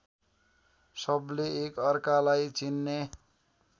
सबले एकअर्कालाई चिन्ने